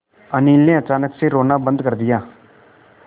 अनिल ने अचानक से रोना बंद कर दिया